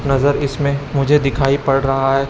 नजर इसमें मुझे दिखाई पड़ रहा है।